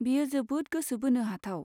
बेयो जोबोद गोसो बोनो हाथाव।